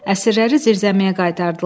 Əsirləri zirzəmiyə qaytardılar.